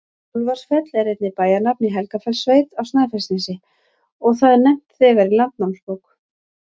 Úlfarsfell er einnig bæjarnafn í Helgafellssveit á Snæfellsnesi, og það er nefnt þegar í Landnámabók.